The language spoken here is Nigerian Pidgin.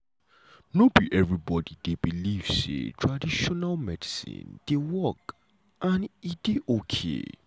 no be everybody dey believe say traditional medicine dey work and e dey okay.